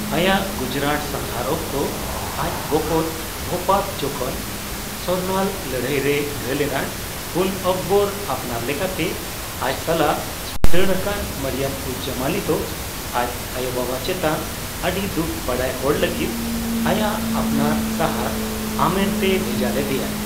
ᱟᱭᱟᱜ ᱜᱩᱡᱨᱟᱴ ᱥᱟᱜᱷᱟᱨ ᱚᱠᱛᱚ ᱟᱡ ᱵᱚᱠᱚᱛ ᱵᱷᱳᱯᱟᱛ ᱡᱚᱠᱷᱚᱱ ᱥᱚᱨᱱᱟᱞ ᱞᱟᱹᱲᱦᱟᱹᱭ ᱨᱮᱭ ᱜᱷᱟᱹᱞ ᱮᱱᱟ, ᱩᱱ ᱟᱠᱵᱚᱨ ᱟᱯᱱᱟᱨᱞᱮᱠᱟᱛᱮ ᱟᱡ ᱥᱟᱞᱟᱜ ᱫᱟᱲᱟᱱᱠᱟᱱ ᱢᱚᱨᱤᱭᱚᱢᱼᱩᱡᱼᱡᱟᱢᱟᱱᱤ ᱫᱚ ᱟᱡ ᱟᱭᱚᱼᱵᱟᱵᱟ ᱪᱮᱛᱟᱱ ᱟᱰᱤ ᱫᱩᱠ ᱵᱟᱲᱟᱭ ᱦᱚᱲᱚ ᱞᱟᱜᱤᱫ ᱟᱭᱟᱜ ᱟᱯᱱᱟᱨ ᱥᱟᱦᱟᱨ ᱟᱢᱮᱨ ᱛᱮᱭ ᱵᱷᱮᱡᱟ ᱞᱮᱫᱮᱭᱟ ᱾